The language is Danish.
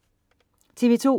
TV2: